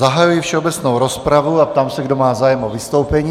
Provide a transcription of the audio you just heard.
Zahajuji všeobecnou rozpravu a ptám se, kdo má zájem o vystoupení.